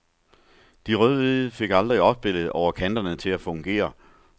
De rødhvide fik aldrig opspillet over kanterne til at fungere.